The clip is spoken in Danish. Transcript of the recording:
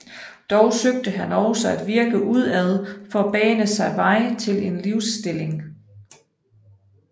Dog søgte han også at virke udad for at bane sig vej til en livsstilling